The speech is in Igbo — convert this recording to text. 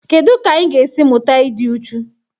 Kedu ka anyị ga-esi mụta ịdị uchu?